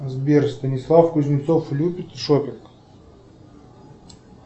сбер станислав кузнецов любит шоппинг